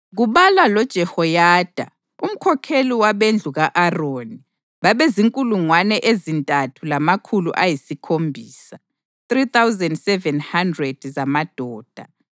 kubalwa loJehoyada, umkhokheli wabendlu ka-Aroni babezinkulungwane ezintathu lamakhulu ayisikhombisa (3,700) zamadoda